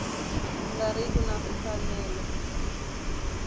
nga ri ki na mfanelo